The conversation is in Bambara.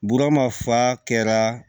Burama fa kɛra